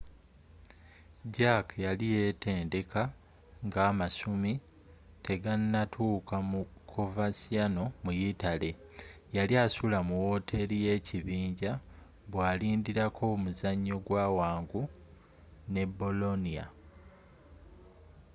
jarque yali yeetendeka nga amasumi tegannatuuka mu coverciano mu yitale yali asula mu woteri y'ekibinja bwalindirako omuzanyo gwa wangu ne bolonia